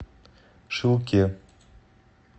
шилке